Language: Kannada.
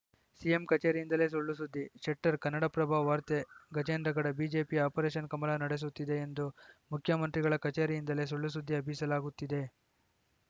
ಸಿಎಂ ಕಚೇರಿಯಿಂದಲೇ ಸುಳ್ಳು ಸುದ್ದಿ ಶೆಟ್ಟರ್‌ ಕನ್ನಡಪ್ರಭ ವಾರ್ತೆ ಗಜೇಂದ್ರಗಡ ಬಿಜೆಪಿಯು ಆಪರೇಷನ್‌ ಕಮಲ ನಡೆಸುತ್ತಿದೆ ಎಂದು ಮುಖ್ಯಮಂತ್ರಿಗಳ ಕಚೇರಿಯಿಂದಲೇ ಸುಳ್ಳು ಸುದ್ದಿ ಹಬ್ಬಿಸಲಾಗುತ್ತಿದೆ